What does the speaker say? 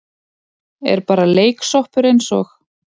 Er bara leiksoppur eins og